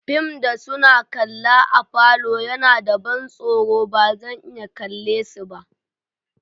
Fim da suna kalla a'falo ya na ban soro ba zan iya kalle si ba.